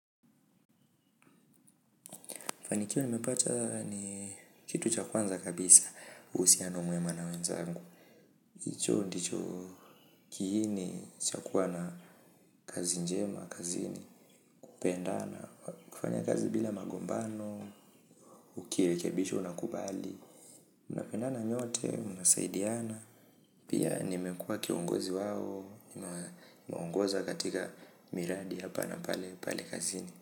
Fanikio nimepata ni kitu cha kwanza kabisa, uhusiano mwema na wenzangu. Hicho, ndicho, kiini cha kuwa na kazi njema, kazini, pendana, kufanya kazi bila magombano, ukirekebishwa una kubali. Mnapendana nyote, mnasaidiana, pia nimekuwa kiongozi wao, nimeongoza katika miradi hapa na pale, pale kazini.